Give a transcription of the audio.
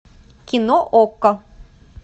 кино окко